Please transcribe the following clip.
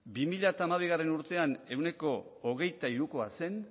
bi mila hamabigarrena urtean ehuneko hogeita hirukoa zen